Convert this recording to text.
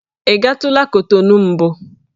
Ị gatụla Kotonu mbụ?